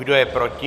Kdo je proti?